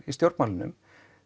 í stjórnmálunum